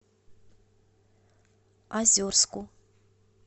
озерску